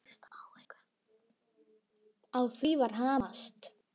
Á því var hamast.